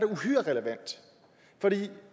uhyre relevant